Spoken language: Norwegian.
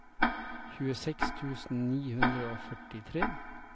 tjueseks tusen ni hundre og førtitre